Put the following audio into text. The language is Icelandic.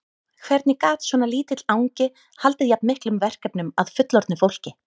Hvernig gat svona lítill angi haldið jafn miklum verkefnum að fullorðnu fólki?